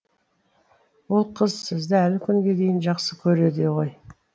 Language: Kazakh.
ол қыз сізді әлі күнге дейін жақсы көреді ғой